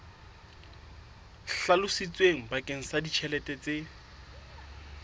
hlalositsweng bakeng sa ditjhelete tse